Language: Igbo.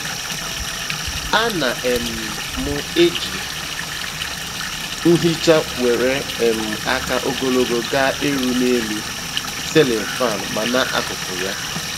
A na um m eji nhicha nwere um aka ogologo ga - eru n'elu ceiling faans ma na akụkụ ya